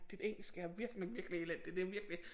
Dit engelsk er virkelig virkelig elendigt det er virkelig